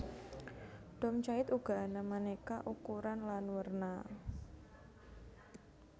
Dom jait uga ana manéka ukuran lan werna